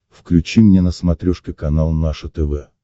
включи мне на смотрешке канал наше тв